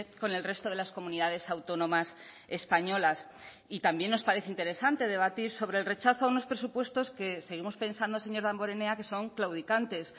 con el resto de las comunidades autónomas españolas y también nos parece interesante debatir sobre el rechazo a unos presupuestos que seguimos pensando señor damborenea que son claudicantes